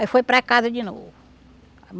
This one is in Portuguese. Aí foi para casa de novo.